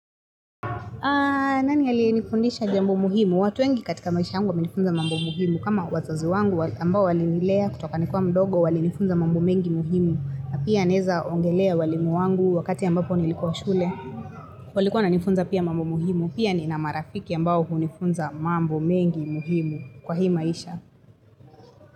Nani ali nifundisha jambo muhimu? Watu wengi katika maisha yangu wamenifunza mambo muhimu. Kama wazazi wangu ambao wali nilea kutoka nikiwa mdogo wali nifunza mambo mengi muhimu. Na pia naeza ongelea walimu wangu wakati ambapo nilikuwa shule. Walikuwa wana nifunza pia mambo muhimu. Pia ni na marafiki ambao hunifunza mambo mengi muhimu kwa hii maisha.